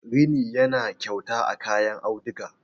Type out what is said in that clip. rini yana kyauta a kayan auduga